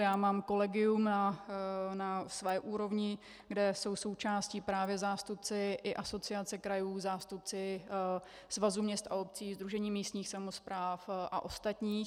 Já mám kolegium na své úrovni, kde jsou součástí právě zástupci i Asociace krajů, zástupci Svazu měst a obcí, Sdružení místních samospráv a ostatních.